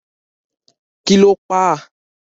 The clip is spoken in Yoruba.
Kí lo pa á?